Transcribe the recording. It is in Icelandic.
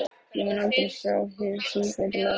Ég mun aldrei sjá hið síbreytilega líf þeirra augum.